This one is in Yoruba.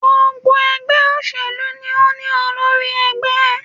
Gbogbo ègbé òṣèlú ni o ní olórí egbé